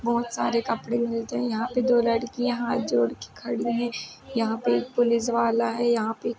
बहुत सारे कपड़े मिलते हैं यहाँं पे । दो लड़कियां हाथ जोड़कर खड़ी हैं। यहाँं पे एक पुलिस वाला है। यहाँ पे --